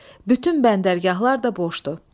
Bütün bəndərgahlar da boşdur.